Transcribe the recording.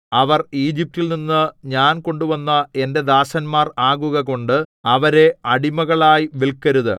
അവർ ഈജിപ്റ്റിൽനിന്നു ഞാൻ കൊണ്ടുവന്ന എന്റെ ദാസന്മാർ ആകുക കൊണ്ട് അവരെ അടിമകളായി വില്‍ക്കരുത്